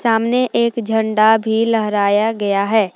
सामने एक झंडा भी लहराया गया है।